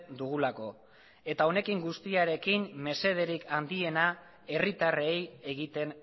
dugulako eta honekin guztiarekin mesederik handiena herritarrei egiten